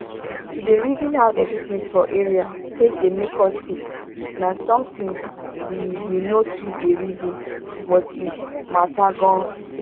to dey reason how dirty things for area take dey make us sick na something we we no too dey reason but e matter gan.